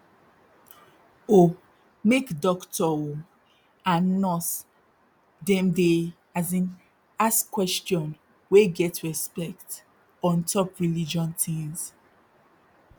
oh make dokto oh and nurse dem dey as in ask question wey get respect ontop religion tins